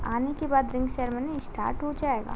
आने के बाद रिंग सेरेमनी स्टार्ट हो जाएगा।